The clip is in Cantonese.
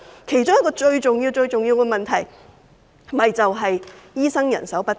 其中一個最重要的問題正是醫生人手不足。